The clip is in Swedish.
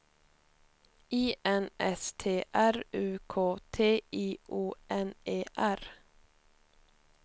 I N S T R U K T I O N E R